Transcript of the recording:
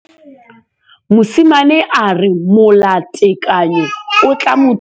Mosimane a re molatekanyô o tla mo thusa go bala mo molapalong.